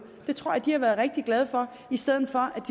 det tror jeg de har været rigtig glade for i stedet for at